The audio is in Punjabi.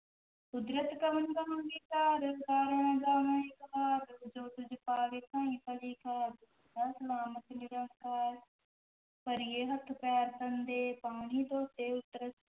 ਕੁਦਰਤਿ ਕਵਣ ਕਹਾ ਵੀਚਾਰੁ, ਵਾਰਿਆ ਨ ਜਾਵਾ ਏਕ ਵਾਰ, ਜੋ ਤੁਧੁ ਭਾਵੈ ਸਾਈ ਭਲੀ ਕਾਰ ਸਲਾਮਤਿ ਨਿਰੰਕਾਰ, ਭਰੀਐ ਹਥੁ ਪੈਰੁ ਤਨੁ ਦੇਹ, ਪਾਣੀ ਧੋਤੈ ਉਤਰਸੁ